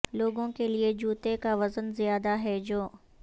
لوگوں کے لئے جوتے کا وزن زیادہ ہیں جو